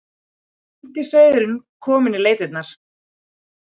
Týndi sauðurinn kominn í leitirnar.